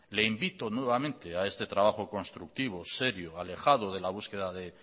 le invito nuevamente a este trabajo constructivo serio alejado de la búsqueda de